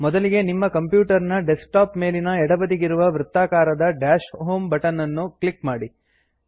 ಮೊದಲಿಗೆ ನಿಮ್ಮ ಕಂಪ್ಯೂಟರ್ ನ ಡೆಸ್ಕ್ಟಾಪ್ ನ ಮೇಲಿನ ಎಡಬದಿಗಿರುವ ವೃತ್ತಾಕಾರದ ಡಾಶ್ ಹೋಮ್ ಬಟನ್ ಅನ್ನು ಕ್ಲಿಕ್ ಮಾಡಿ